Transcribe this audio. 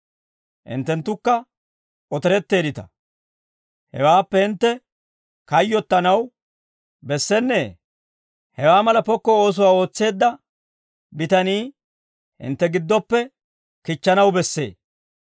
Hinttenttukka otoretteeddita. Hewaappe hintte kayyottanaw bessennee? Hewaa mala pokko oosuwaa ootseedda bitanii hintte giddoppe kichchanaw bessee.